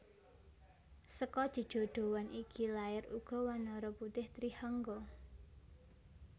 Seka jejodhoan iki lair uga wanara putih Trihangga